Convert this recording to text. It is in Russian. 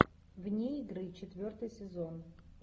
вне игры четвертый сезон